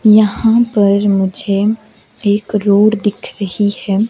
यहां पर मुझे एक रोड दिख रही है।